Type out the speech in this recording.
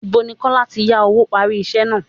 Ìbo ni Kọ́lá tí yá owó parí iṣẹ́ náà?